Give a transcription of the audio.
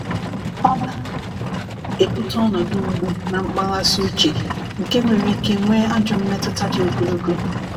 ọna ebuta ọnọdụ mgbụ na mkpaghasi uche nke nwere ike nwe ajọ mmetuta di ogologo